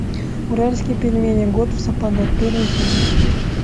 уральские пельмени год в сапогах первая серия